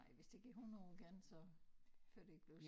Nej hvis det ikke er 100 år igen så før det ikke bliver